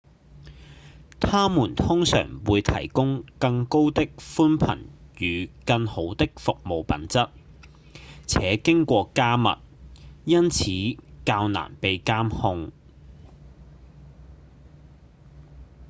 他們通常會提供更高的頻寬與更好的服務品質且經過加密因此較難被監控